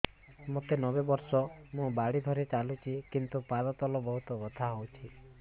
ମୋତେ ନବେ ବର୍ଷ ମୁ ବାଡ଼ି ଧରି ଚାଲୁଚି କିନ୍ତୁ ପାଦ ତଳ ବହୁତ ବଥା ହଉଛି